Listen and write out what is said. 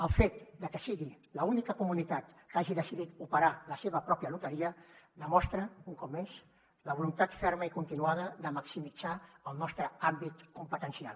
el fet de que sigui l’única comunitat que hagi decidit operar la seva pròpia loteria demostra un cop més la voluntat ferma i continuada de maximitzar el nostre àmbit competencial